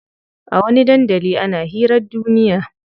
A wani dandalin ana hirar duniya ne.